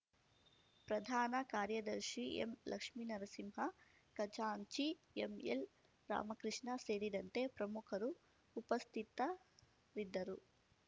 ಪ್ರಧಾನ ಕಾರ್ಯದರ್ಶಿ ಎಂಲಕ್ಷ್ಮೀನರಸಿಂಹ ಖಜಾಂಚಿ ಎಂಎಲ್ರಾಮಕೃಷ್ಣ ಸೇರಿದಂತೆ ಪ್ರಮುಖರು ಉಪಸ್ಥಿತರಿದ್ದರು